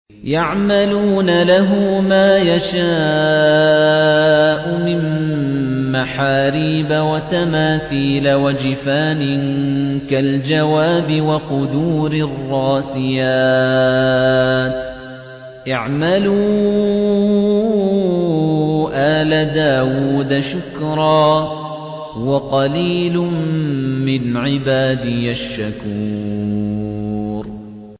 يَعْمَلُونَ لَهُ مَا يَشَاءُ مِن مَّحَارِيبَ وَتَمَاثِيلَ وَجِفَانٍ كَالْجَوَابِ وَقُدُورٍ رَّاسِيَاتٍ ۚ اعْمَلُوا آلَ دَاوُودَ شُكْرًا ۚ وَقَلِيلٌ مِّنْ عِبَادِيَ الشَّكُورُ